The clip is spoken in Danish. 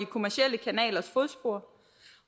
kommercielle kanalers fodspor